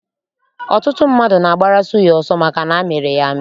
Ọtụtụ mmadụ na-agbara suya ọsọ maka na amịrị ya amị.